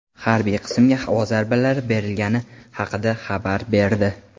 harbiy qismga havo zarbalari berilgani haqida xabar berdi.